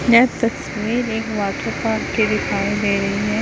यह तस्वीर एक है।